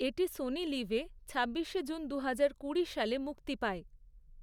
এটি সোনি লিভে, ছাব্বিশে জুন দুহাজার কুড়ি সালে মুক্তি পায়।